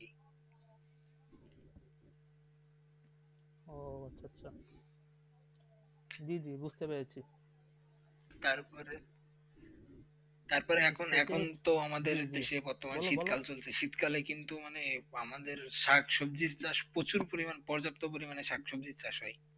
যে যে বুঝতে পেরেছি তারপরে তারপরে এখন তো আমাদের দেশে বর্তমানে শীতকালে চলছে শীতকালে কিন্তু মানে আমাদের শাকসবজির চাষ প্রচুর পরিমাণ পর্যাপ্ত পরিমাণে শাকচম চাষ হয়.